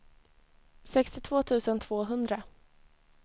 sextiotvå tusen tvåhundra